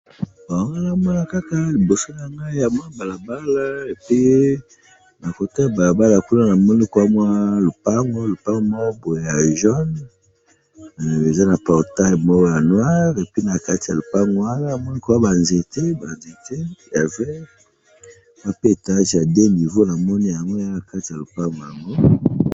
liboso nangayi awa nazomona balabala, balabala yango pe nakatikati nazomona terrasse pe na balabala yango pe ndenge nazomona eza neti ya ciment.